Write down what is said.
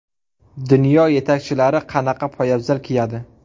Dunyo yetakchilari qanaqa poyabzal kiyadi?